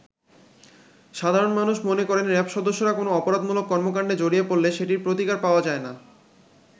সাধারণ মানুষ মনে করেন র‍্যাব সদস্যরা কোন অপরাধমূলক কর্মকাণ্ডে জড়িয়ে পড়লে সেটির প্রতিকার পাওয়া যায়না।